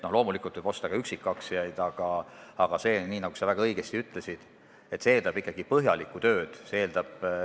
Loomulikult võib osta ka üksikaktsiaid, aga see, nagu sa väga õigesti ütlesid, eeldab ikkagi põhjalikku tööd.